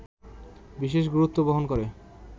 বিশেষ গুরুত্ব বহন করে